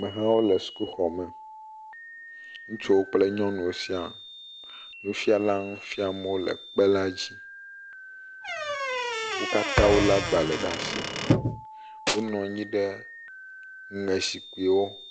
Amehawo le sukuxɔ me ŋutsuwo kple nyɔnuwo sia, nufiala le nu fiam le kpe la dzi wo katã wolé agbalẽwo ɖe asi, wonɔ anyi ɖe aŋe zikpuiwo.